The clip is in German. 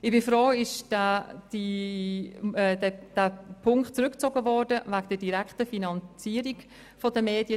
Ich bin froh, wurde der Punkt betreffend die direkte Finanzierung der Medien zurückgezogen.